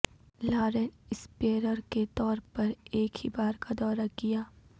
Lauren اسپیرر کے طور پر ایک ہی بار کا دورہ کیا